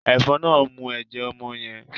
Efòn náà mú ẹjẹ ọmọ yen